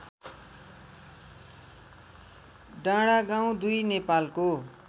डाँडागाउँ २ नेपालको